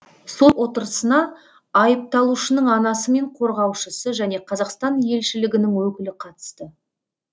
сот отырысына айыпталушының анасы мен қорғаушысы және қазақстан елшілігінің өкілі қатысты